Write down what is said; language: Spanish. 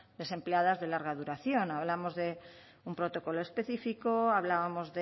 desempleadas de larga duración hablamos de un protocolo específico hablábamos